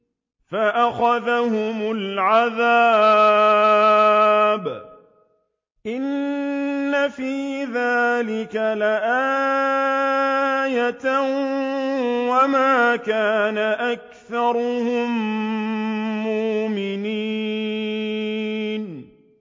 فَأَخَذَهُمُ الْعَذَابُ ۗ إِنَّ فِي ذَٰلِكَ لَآيَةً ۖ وَمَا كَانَ أَكْثَرُهُم مُّؤْمِنِينَ